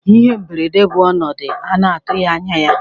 Ihe mberede bụ ọnọdụ a na-atụghị anya ya.